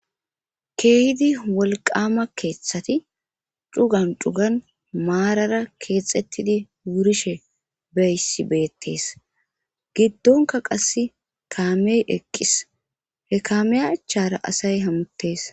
keehidi wolqama keeththati cugan cugan maarara keexettidi wurishe beyssi beettees giddonka qasse kaamey eqqis he kaamey achara asay hamuttees